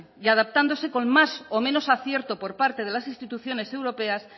y adaptándose con más o menos acierto por parte de las instituciones europeas